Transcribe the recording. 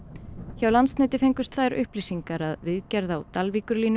hjá Landsneti fengust þær upplýsingar að viðgerð á